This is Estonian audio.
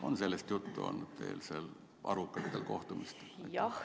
On sellest juttu olnud nendele arvukatel kohtumistel?